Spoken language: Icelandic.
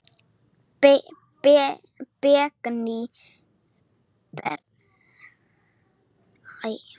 Bergný, ég kom með áttatíu og sjö húfur!